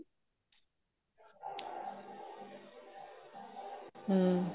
ਹਮ